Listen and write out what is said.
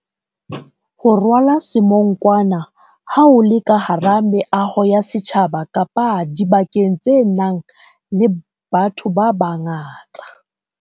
Ho rwala semonkwana ha o le ka hara meaho ya setjhaba kapa dibakeng tse nang le batho babangata.